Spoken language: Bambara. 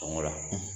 Sɔngɔ la